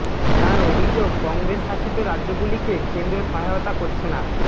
তাঁর অভিযোগ কংগ্রেস শাসিত রাজ্যগুলিকে কেন্দ্র সহায়তা করছে না